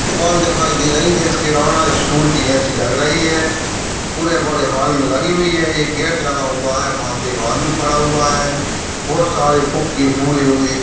दुकान दिखाई दे रही है जो किराना स्टोर के जैसी लग रही है पुरे बड़े हॉल में लगी हुई है एक गेट लगा हुआ है वहाँ पे एक आदमी खड़ा हुआ है बहुत सारे फुगे फुले हुए--